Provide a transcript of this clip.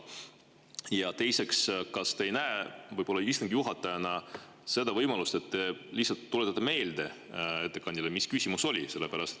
Ja teiseks, kas te ei näe istungi juhatajana seda võimalust, et te lihtsalt tuletate ettekandjale meelde, mis küsimus oli?